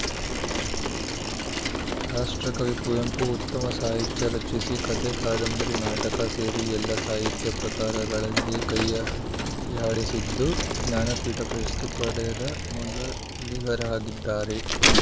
ರಾಷ್ಟ್ರಕವಿ ಕುವೆಂಪು ಉತ್ತಮ ಸಾಹಿತ್ಯ ರಚಿಸಿ ಕಥೆ ಕಾದಂಬರಿ ನಾಟಕ ಸೇರಿ ಎಲ್ಲ ಸಾಹಿತ್ಯ ಪ್ರಕಾರಗಳಲ್ಲಿ ಕೈಯಾಡಿಸಿದ್ದು ಜ್ಞಾನ ಪೀಠ ಪ್ರಶಸ್ತಿ ಪಡೆದ ಮೊದಲಿಗರಾಗಿದ್ದಾರೆ